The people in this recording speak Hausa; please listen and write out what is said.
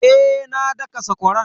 Eh na daka sakwaran.